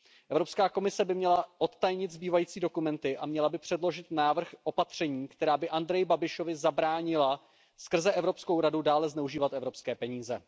Evropská komise by měla odtajnit zbývající dokumenty a měla by předložit návrh opatření, která by Andreji Babišovi zabránila skrze Evropskou radu dále zneužívat evropské peníze.